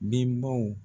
Bɛnbaw